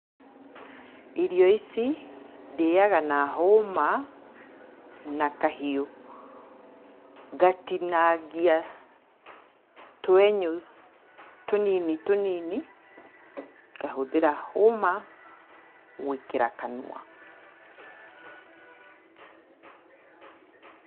Irio ici ndĩaga na hũma na kahiũ, ngatinangia twenyũ tũnini tũnini, ngahũthĩra hũma gwĩkĩra kanua.